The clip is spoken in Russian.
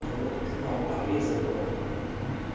в к нам обрезанная